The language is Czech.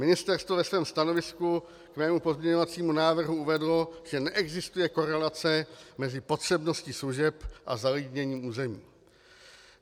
Ministerstvo ve svém stanovisku k mému pozměňovacímu návrhu uvedlo, že neexistuje korelace mezi potřebností služeb a zalidněním území.